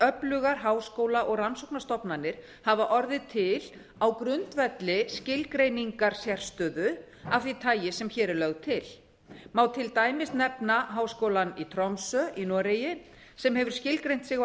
öflugar háskóla og rannsóknastofnanir hafa orðið til á grundvelli skilgreiningar sérstöðu af því tagi sem hér er lögð til má til dæmis nefna háskólann í tromsö í noregi sem hefur skilgreint sig á